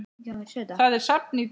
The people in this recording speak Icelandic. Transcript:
Það er safn í dag.